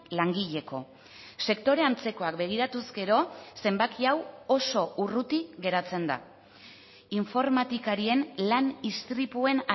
langileko sektore antzekoak begiratuz gero zenbaki hau oso urruti geratzen da informatikarien lan istripuen